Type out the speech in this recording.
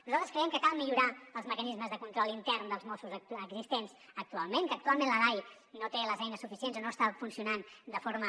nosaltres creiem que cal millorar els mecanismes de control intern dels mossos existents actualment que actualment la dai no té les eines suficients o no està funcionant de forma